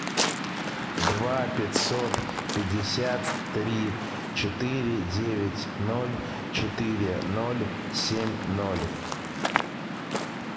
два пятьсот пятьдесят три четыре девять ноль четыре ноль семь ноль